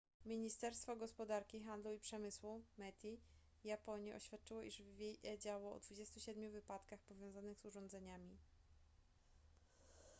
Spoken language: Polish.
ministerstwo gospodarki handlu i przemysłu meti japonii oświadczyło iż wiedziało o 27 wypadkach powiązanych z urządzeniami